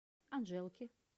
анжелки